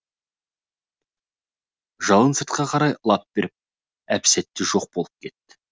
жалын сыртқа қарай лап беріп әп сәтте жоқ болып кетті